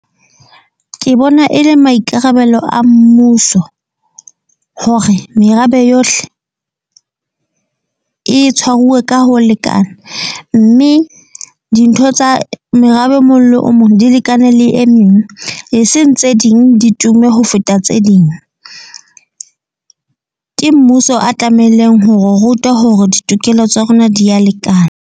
Ke bona e le maikarabelo a mmuso. Hore merabe yohle e tshwaruwe ka ho lekana. Mme dintho tsa merabe e mong le o mong di lekane le e meng, e seng tse ding di tume ho feta tse ding. Ke mmuso a tlamehileng hore ruta hore ditokelo tsa rona di ya lekana.